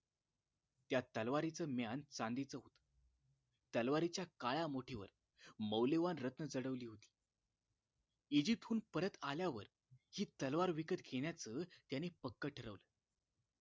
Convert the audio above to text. त्या तलवारीचं म्यान चांदीच होत तलवारीच्या काळ्या मुठीवर मौल्यवान रत्न जडवली होती इजिप्तहून परत आल्यावर हि तलवार विकत घेण्याचं त्याने पक्क ठरवलं